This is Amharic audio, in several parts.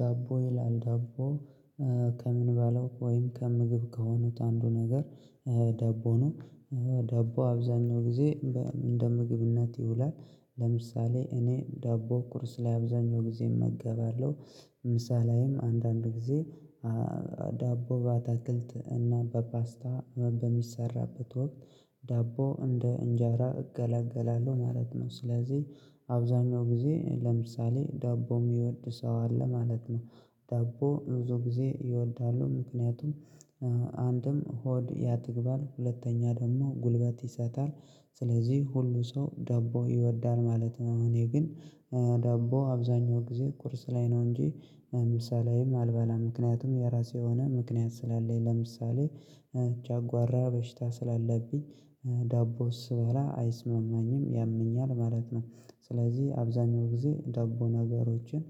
ዳቦ ይላል ዳቦ ከምንበላው ወይም ከምግብ ከሆኑት አንዱ ነገር ዳቦ ነው። ደቦ አብዛኛው ጊዜ እንደ ምግብነት ይውላል ለምሳሌ እኔ ዳቦ ቁርስ ላይ አብዛኛው ጊዜ እመገባለሁ። ምሳ ላይም አንዳንድ ጊዜ ዳቦ በአትክልት እና በፓስታ በሚሰራበት ወቅት ዳቦ እንደ እንጀራ እገለገላለሁ ማለት ነው። ስለዚህ አብዛኛው ጊዜ ለምሳሌ ዳቦ የሚወድ ሰው አለ ማለት ነው። ዳቦ ብዙ ጊዜ ይወዳሉ ምክንያቱም አንድም ሆድ ያጠግባል ሁለተኛ ደግሞ ጉልበት ይሰጣል። ስለዚህ ሁሉ ሰው ዳቦ ይወዳል ማለት ነው። እኔ ግን ዳቦ አብዛኛው ጊዜ ቁርስ ላይ ነው እንጂ ምሳ ላይም አልበላም ምክንያቱም የራሴ የሆነ ምክንያት ስላለኝ ለምሳሌ ጨጓራ በሽታ ስላለብኝ ዳቦ ስበላ አይስማማኝም ያመኛል ማለት ነው። ስለዚህ አብዛኛው ጊዜ ዳቦ ነገሮችን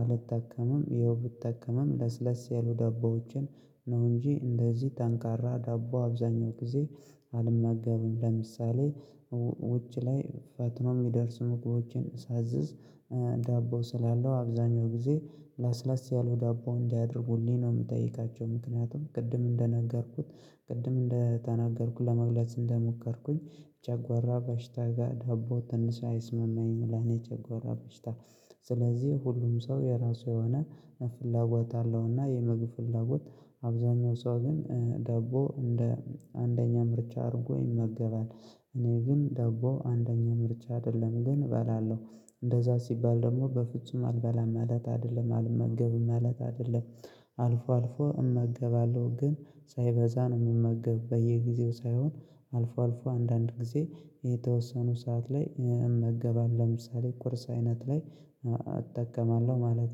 አልጠቀምም ያው ብጠቀምም ለስለስ ያሉ ዳቦዎችን ነው እንጂ እንደዚህ ጠንካራ ዳቦ አብዛኛው ጊዜ አልመገብም። ለምሳሌ ውጭ ላይ ፈጥኖ የሚደርሱ ምግቦችን ሳዝዝ ዳቦ ስላለው አብዛኛው ጊዜ ለስለስ ያለ ዳቦ እንዲያደርጉልኝ ነው የምጠይቃቸው። ምክንያቱም ቅድም እንደነገርኩት ቅድም እንደተናገርኩት ለመግለጽ እንደሞከርኩኝ ጨጓራ በሽታ ጋር ዳቦ ትንሽ አይስማማኝም። ለኔ ጨጓራ በሽታ ስለዚህ ሁሉም ሰው የራሱ የሆነ ፍላጎት አለው እና የምግብ ፍላጎት አብዛኛው ሰው ግን ዳቦ እንደ አንደኛ ምርጫ አድርጎ ይመገባል። እኔ ግን ዳቦ አንደኛ ምርጫ አይደለም ግን እበላለሁ እንደዛ ሲባል ደግሞ በፍጹም አልበላም ማለት አይደለም አልመገብም ማለት አይደለም። አልፎ አልፎ እመገባለሁ ግን ሳይበዛ ነው የምመገብ በየጊዜው ሳይሆን አልፎ አልፎ አንዳንድ ጊዜ የተወሰኑ ሰዓት ላይ እመገባለሁ። ለምሳሌ ቁርስ አይነት ላይ እጠቀማለሁ ማለት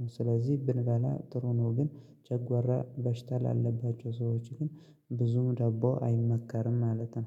ነው። ስለዚህ ብንበላ ጥሩ ነው ግን ጨጓራ በሽታ ላለባቸው ሰዎች ግን ብዙም ዳቦ አይመከርም ማለት ነው።